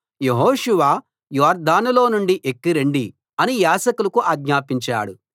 యెహోషువ యొర్దానులో నుండి ఎక్కి రండి అని యాజకులకు ఆజ్ఞాపించాడు